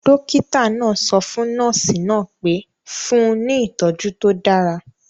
Dọ́kítà náà sọ fún nọ́ọ̀sì náà pé; fún un ní ìtọjú tó dára